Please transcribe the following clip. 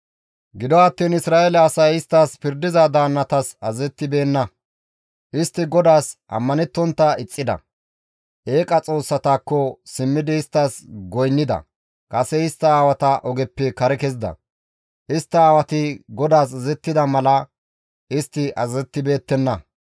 Gido attiin Isra7eele asay isttas pirdiza daannatas azazettibeenna; istti GODAAS ammanettontta ixxida; eeqa xoossatakko simmidi isttas goynnida; kase bantta aawata ogeppe kare kezida; istta aawati GODAAS azazettida mala istti azazettibeettenna.